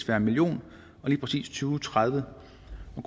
være en million og lige præcis to tusind og tredive